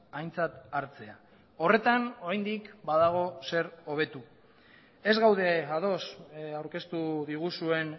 aintzat hartzea horretan oraindik badago zer hobetu ez gaude ados aurkeztu diguzuen